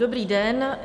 Dobrý den.